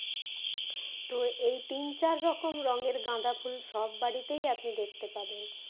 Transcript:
তো এই তিন চার রকম রঙের গাঁদা ফুল আপনি সব বাড়িতেই দেখতে পাবেন